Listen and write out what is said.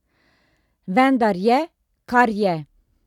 Vendar je, kar je!